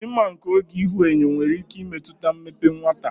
Ọdịmma nke oke oge ihuenyo nwere ike imetụta mmepe nwata.